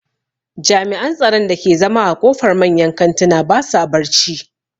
Jami'an tsaron da ke zama a ƙofar manyan kantuna ba sa barci